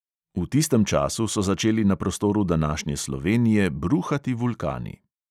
V tistem času so začeli na prostoru današnje slovenije bruhati vulkani.